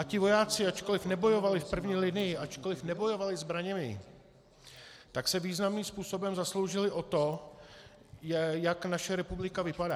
A ti vojáci, ačkoliv nebojovali v první linii, ačkoliv nebojovali zbraněmi, tak se významným způsobem zasloužili o to, jak naše republika vypadá.